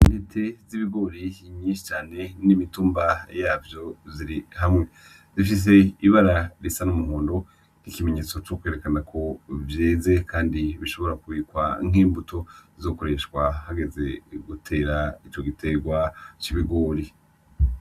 Intete z'ibigori nyinshi cane n'imitumba yavyo ziri hamwe, zifise ibara risa n'umuhondo nk'ikimenyetso co kwerekana ko vyeze kandi bishobora kubikwa nk'imbuto zo gukoreshwa hageze gutera ico giterwa c'ibigori.